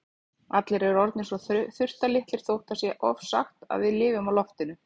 Allir eru orðnir svo þurftarlitlir þótt það sé ofsagt að við lifum á loftinu.